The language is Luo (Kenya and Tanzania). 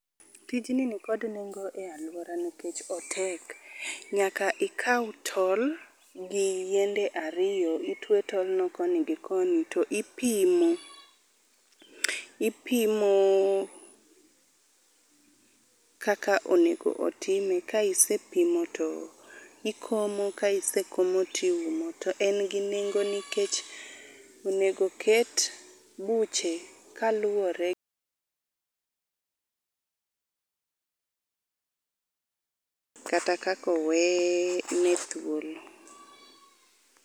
Tijni nikod nengo e alwora nikech otek. Nyaka ikaw tol gi yiende ariyo, itwe tolno koni gi koni to ipimo. Ipimo kaka onego otime ka isepimo to ikomo, ka isekomo tiumo. To en gi nengo nikech onego oket buche kaluwore kata kaka owe ne thuolo.